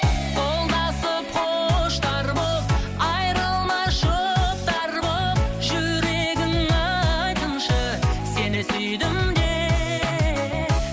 қолдасып құштар боп айырылмас жұптар боп жүрегің айтсыншы сені сүйдім деп